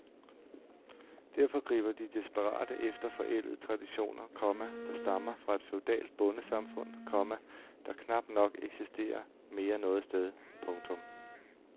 Derfor griber de desperate efter forældede traditioner, komma der stammer fra et feudalt bondesamfund, komma der knap nok eksisterer mere noget sted. punktum